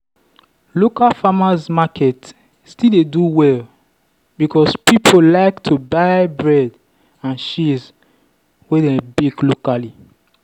local farmers market still dey do well because people like to buy bread and cheese wey dem bake locally.